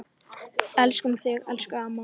Elskum þig, elsku amma.